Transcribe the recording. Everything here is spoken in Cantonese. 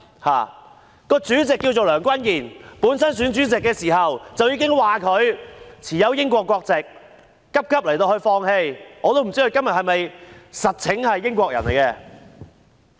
它的主席名為梁君彥，他在選主席時，已經有人指他擁有英國國籍，他最後急急放棄，但我也不知道他現時其實是否英國人。